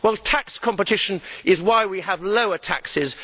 Tax competition is why we have lower taxes.